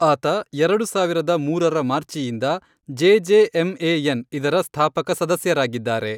ಆತ ಎರಡು ಸಾವಿರದ ಮೂರರ ಮಾರ್ಚಿಯಿಂದ ಜೆಜೆಎಂಎಎನ್ ಇದರ ಸ್ಥಾಪಕ ಸದಸ್ಯರಾಗಿದ್ದಾರೆ.